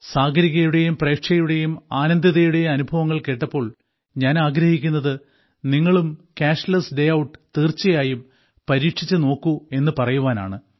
സാഗരികയുടെയും പ്രേക്ഷയുടെയും ആനന്ദിതയുടെയും അനുഭവങ്ങൾ കേട്ടപ്പോൾ ഞാൻ ആഗ്രഹിക്കുന്നത് നിങ്ങളും ക്യാഷ്ലെസ് ഡേ ഔട്ട് തീർച്ചയായും പരീക്ഷിച്ചു നോക്കൂ എന്നു പറയുവാനാണ്